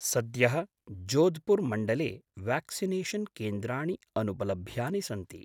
सद्यः जोधपुर् मण्डले व्याक्सिनेषन् केन्द्राणि अनुपलभ्यानि सन्ति।